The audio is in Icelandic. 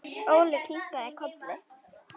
Óli kinkaði kolli.